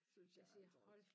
Synes jeg altså også